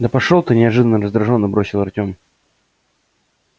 да пошёл ты неожиданно раздражённо бросил артем